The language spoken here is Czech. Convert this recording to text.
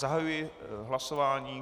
Zahajuji hlasování.